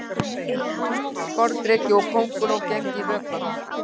Sporðdreki og kónguló geymd í vökva.